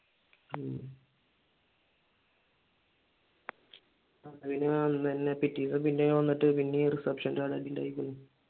പിന്നെ അന്നുതന്നെ പിറ്റേന്ന് പിന്നെയും വന്നിട്ട് പിന്നെയും റിസെപ്ഷന്റെ ഉണ്ടായേക്കണ്